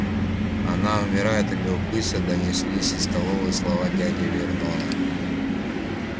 она умирает от любопытства донеслись из столовой слова дяди вернона